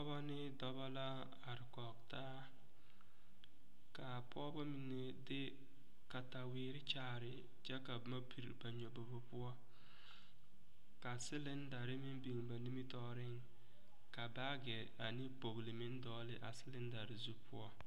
Pɔgeba ne dɔba la a are kɔge taa k,a pɔgeba mine de kataweere kyaare kyɛ ka boma piri ba nyɔbobo poɔ ka silindari meŋ biŋ ba nimitɔɔreŋ ka baageɛ ane kpogli meŋ dɔgle a silindari zu poɔ.